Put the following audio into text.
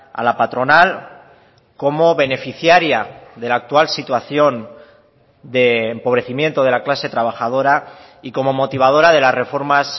a la patronal como beneficiaria de la actual situación de empobrecimiento de la clase trabajadora y como motivadora de las reformas